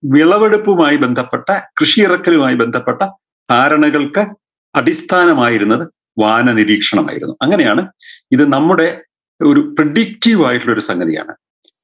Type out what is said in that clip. വിളവെടുപ്പുമായ് ബന്ധപ്പെട്ട കൃഷി ഇറക്കലുമായ് ബന്ധപ്പെട്ട ധാരണകൾക്ക് അടിസ്ഥാനമായിരുന്നത് വാനനിരീക്ഷണമായിരുന്നു അങ്ങനെയാണ് ഇത് നമ്മുടെ ഒരു predective ആയിട്ടുള്ളൊരു സംഗതിയാണ്